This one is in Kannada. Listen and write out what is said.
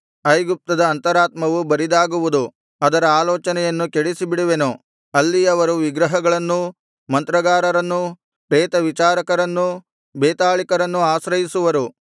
ಐಗುಪ್ತದ ಅಂತರಾತ್ಮವು ಬರಿದಾಗುವುದು ಅದರ ಆಲೋಚನೆಯನ್ನು ಕೆಡಿಸಿಬಿಡುವೆನು ಅಲ್ಲಿಯವರು ವಿಗ್ರಹಗಳನ್ನೂ ಮಂತ್ರಗಾರರನ್ನೂ ಪ್ರೇತವಿಚಾರಕರನ್ನೂ ಬೇತಾಳಿಕರನ್ನು ಆಶ್ರಯಿಸುವರು